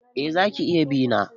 Eh za ka iya bi na.